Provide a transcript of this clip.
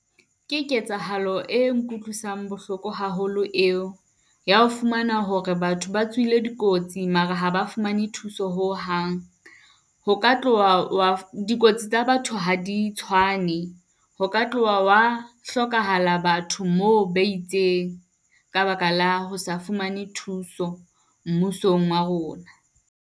Ke ketsahalo e nkutlwisang bohloko haholo eo, ya ho fumana hore batho ba tswile dikotsi, mare ha ba fumane thuso ho hang. Ho ka tloha, dikotsi tsa batho ha di tshwane ho ka tloha wa hlokahala batho moo ba itseng ka baka la ho sa fumane thuso mmusong wa rona.